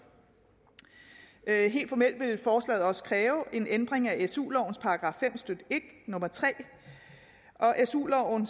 helt formelt vil forslaget også kræve en ændring af su lovens § fem stykke en nummer tre og su loven